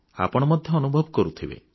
ଆପଣ ମଧ୍ୟ ଅନୁଭବ କରୁଥିବେ